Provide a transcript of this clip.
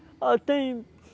Ah, tem.